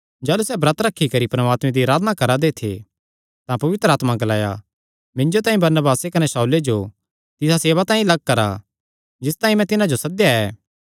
जाह़लू सैह़ ब्रत रखी करी परमात्मे दी अराधना करा दे थे तां पवित्र आत्मा ग्लाया मिन्जो तांई बरनबासे कने शाऊले जो तिसा सेवा तांई लग्ग करा जिस तांई मैं तिन्हां जो सद्देया ऐ